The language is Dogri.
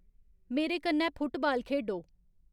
मेरे कन्नै फुटबाल खेढो